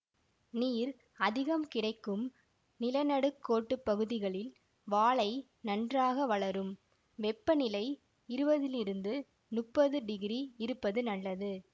நீர் அதிகம் கிடைக்கும் நிலநடுக்கோட்டுப்பகுதிகளில் வாழை நன்றாக வளரும் வெப்பநிலை இருவதிலிருந்து முப்பது டிகிரி இருப்பது நல்லது